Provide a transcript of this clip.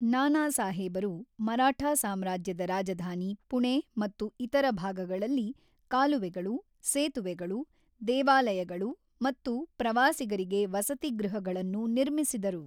ನಾನಾಸಾಹೇಬರು ಮರಾಠಾ ಸಾಮ್ರಾಜ್ಯದ ರಾಜಧಾನಿ ಪುಣೆ ಮತ್ತು ಇತರ ಭಾಗಗಳಲ್ಲಿ ಕಾಲುವೆಗಳು, ಸೇತುವೆಗಳು, ದೇವಾಲಯಗಳು ಮತ್ತು ಪ್ರವಾಸಿಗರಿಗೆ ವಸತಿಗೃಹಗಳನ್ನು ನಿರ್ಮಿಸಿದರು.